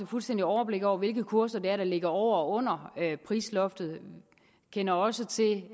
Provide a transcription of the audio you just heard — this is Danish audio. fuldstændigt overblik over hvilke kurser det er der ligger over og under prisloftet vi kender også til